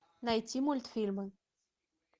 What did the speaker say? найти мультфильмы